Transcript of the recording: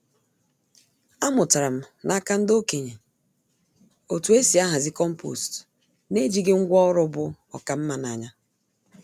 Amụtara m n’aka ndị okenye otú e si ahazi compost n’ejighị ngwá ọrụ bu oká nma n’anya.